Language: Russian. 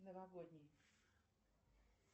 новогодний